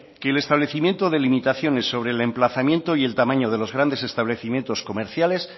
que el establecimiento de limitaciones sobre el emplazamiento y el tamaño de los grandes establecimientos comerciales